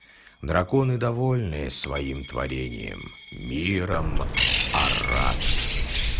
драконы довольные своим творением миром арат